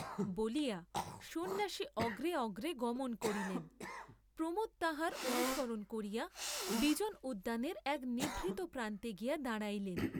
বলিয়া সন্ন্যাসী অগ্রে অগ্রে গমন করিলেন, প্রমোদ তাঁহার অনুসরণ করিয়া বিজন উদ্যানের এক নিভৃত প্রান্তে গিয়া দাঁড়াইলেন।